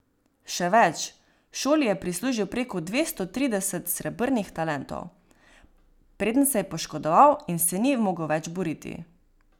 Še več, šoli je prislužil preko dvesto trideset srebrnih talentov, preden se je poškodoval in se ni mogel več boriti.